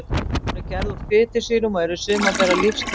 Hún er gerð úr fitusýrum og eru sumar þeirra lífsnauðsynlegar.